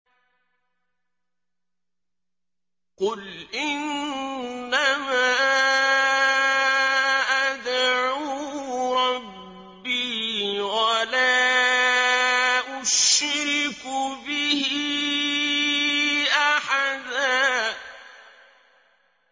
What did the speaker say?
قُلْ إِنَّمَا أَدْعُو رَبِّي وَلَا أُشْرِكُ بِهِ أَحَدًا